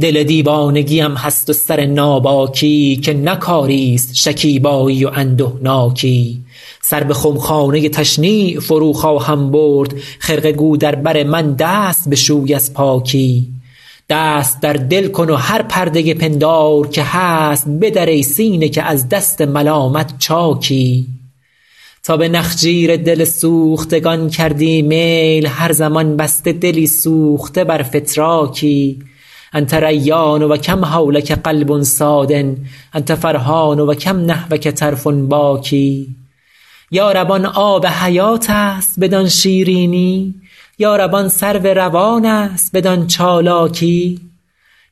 دل دیوانگی ام هست و سر ناباکی که نه کاری ست شکیبایی و اندهناکی سر به خمخانه تشنیع فرو خواهم برد خرقه گو در بر من دست بشوی از پاکی دست در دل کن و هر پرده پندار که هست بدر ای سینه که از دست ملامت چاکی تا به نخجیر دل سوختگان کردی میل هر زمان بسته دلی سوخته بر فتراکی أنت ریان و کم حولک قلب صاد أنت فرحان و کم نحوک طرف باکی یا رب آن آب حیات است بدان شیرینی یا رب آن سرو روان است بدان چالاکی